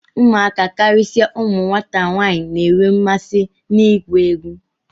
Ụmụaka, karịsịa ụmụ nwata nwaanyị na-enwe mmasị n'ịgụ egwu